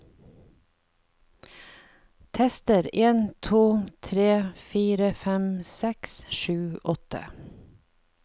Tester en to tre fire fem seks sju åtte